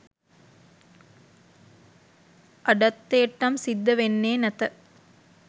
අඩන්තේට්ටම් සිද්ධ වෙන්නේ නැත.